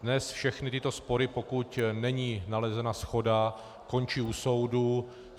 Dnes všechny tyto spory, pokud není nalezena shoda, končí u soudu.